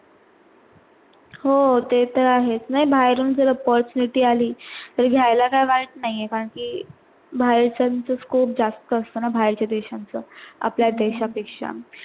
हो ते तर आहेच नाही बाहेरून झर opportunity आली तर घायला काई वाट नाही आहे, कारण कि बाहेरच scope जास्त असत ना बाहेर चा देशांच आपल्या देशा पेक्षा.